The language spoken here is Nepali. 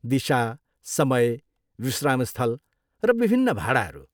दिशा, समय, विश्रामस्थल, र विभिन्न भाडाहरू।